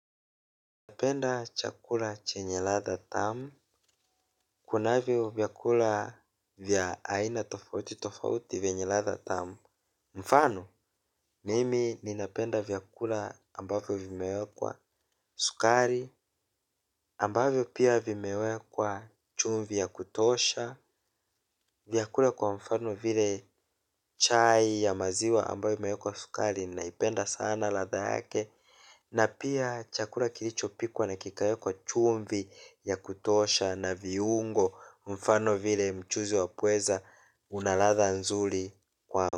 Napenda chakula chenye ladha tamu. Kunavyo vyakula vya aina tofauti tofauti vyenye ladha tamu. Mfano, mimi ninapenda vyakula ambavyo vimewekwa sukari. Ambavyo pia vimewekwa chumvi ya kutosha. Vyakula kwa mfano vile chai ya maziwa ambavyo imewekwa sukari na ipenda sana ladha yake. Na pia chakula kilicho pikwa na kikawekwa chumvi ya kutosha na viungo mfano vile mchuzi wa pweza unaladha nzuri kwangu.